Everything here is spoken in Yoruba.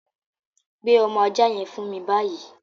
Gbé ọmọ aja yẹn fún mi báyìí!